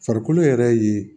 Farikolo yɛrɛ ye